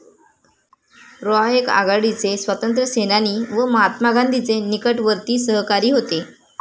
रॉय एक आघाडीचे स्वातंत्र्यसेनानी व महात्मा गांधींचे निकटवर्ती सहकारी होते.